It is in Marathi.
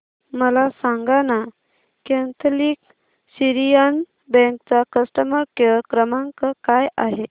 मला सांगाना कॅथलिक सीरियन बँक चा कस्टमर केअर क्रमांक काय आहे